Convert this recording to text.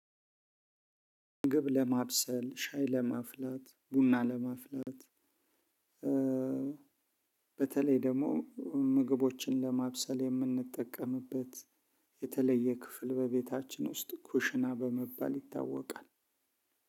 ምግብ ለማብሰል ሻይ ለማፍላት ቡና ለማፍላት። በተለይ ደግሞ ምግቦችን ለማብሰል የምንጠቀምበት የተለየ ክፍል በቤታችን ውስጥ ኩሽና በመባል ይታወቃል።